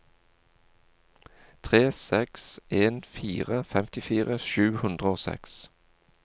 tre seks en fire femtifire sju hundre og seks